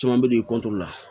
Caman bɛ d'i la